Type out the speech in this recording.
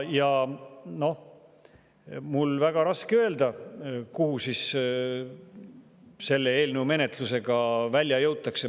Noh, mul on väga raske öelda, kuhu selle eelnõu menetlusega välja jõutakse.